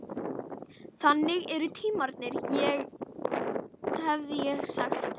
Þannig eru tímarnir, hefði ég sagt.